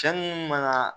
Cɛ munnu maŋa